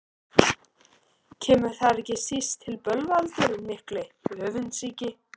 Kemur þar ekki síst til bölvaldurinn mikli, öfundsýki.